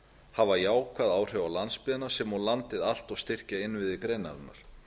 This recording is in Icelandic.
hafa jákvæð áhrif á landsbyggðina sem og landið allt og styrkja innviði greinarinnar